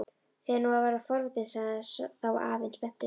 Ég fer nú að verða forvitinn sagði þá afinn spenntur.